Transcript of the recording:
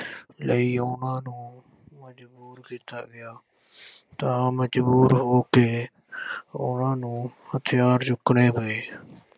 ਲਈ ਉਨ੍ਹਾਂ ਨੂੰ ਮਜ਼ਬੂਰ ਕੀਤਾ ਗਿਆ ਤਾਂ ਮਜ਼ਬੂਰ ਹੋ ਕੇ ਉਨ੍ਹਾਂ ਨੂੰ ਹਥਿਆਰ ਚੁੱਕਣੇ ਪਏ।